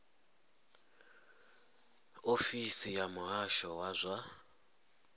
ofisi ya muhasho wa zwa